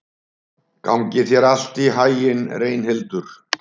Gangi þér allt í haginn, Reynhildur.